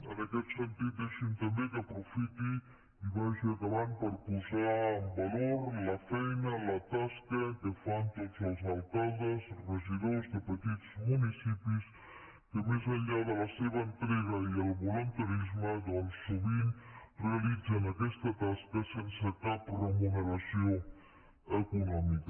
en aquest sentit deixi’m també que aprofiti i vagi acabant per posar en valor la feina la tasca que fan tots els alcaldes regidors de petits municipis que més enllà de la seva entrega i el voluntarisme doncs sovint realitzen aquesta tasca sense cap remuneració econòmica